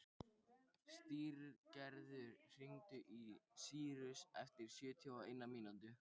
Styrgerður, hringdu í Sýrus eftir sjötíu og eina mínútur.